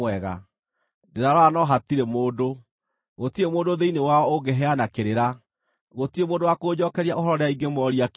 Ndĩrarora no hatirĩ mũndũ; gũtirĩ mũndũ thĩinĩ wao ũngĩheana kĩrĩra, gũtirĩ mũndũ wa kũnjookeria ũhoro rĩrĩa ingĩmoria kĩũria.